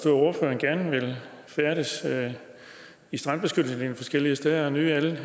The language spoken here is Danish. at ordføreren gerne vil færdes i strandbeskyttelseslinjen forskellige steder og nyde alle